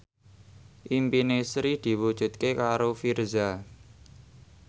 impine Sri diwujudke karo Virzha